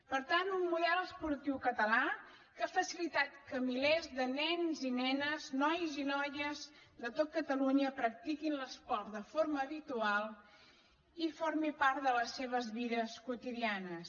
per tant un model esportiu català que ha facilitat que milers de nens i nenes nois i noies de tot catalunya practiquin l’esport de forma habitual i formi part de les seves vides quotidianes